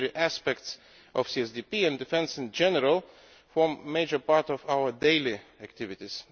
Military aspects of CSDP, and defence in general, form a major part of our daily activities.